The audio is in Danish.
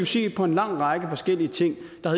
se på en lang række forskellige ting der